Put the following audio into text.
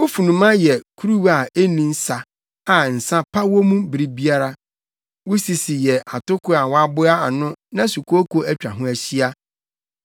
Wo funuma yɛ kuruwa a enni nsa a nsa pa wɔ mu bere biara. Wo sisi yɛ atoko a wɔaboa ano na sukooko atwa ho ahyia.